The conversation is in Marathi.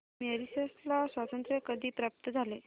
मॉरिशस ला स्वातंत्र्य कधी प्राप्त झाले